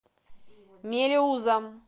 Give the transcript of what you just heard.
мелеузом